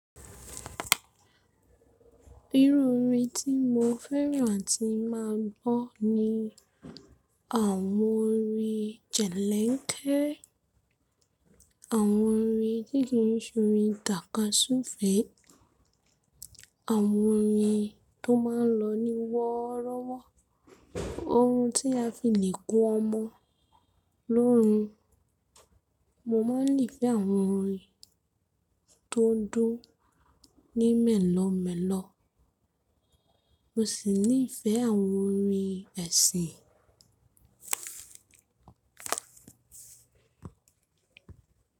Irú orin tí mo fẹ́ràn tí máa ń gbọ́ ni àwọn orin jẹ̀lẹ́ńkẹ̀, àwọn orin dígí, orin tàkasúfèé, àwọn orin tó máa ń lọ ní wọ́rọ́wọ́, ohun tí a fi le ko ọmọ lóórun. Mo máa ń le fẹ́ àwọn orin tó ń dúró ní mẹ́lọ́mẹ́lọ́. Mo sì ní ìfẹ́ àwọn orin ẹ̀sìn.